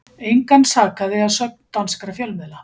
Engan sakaði að sögn danskra fjölmiðla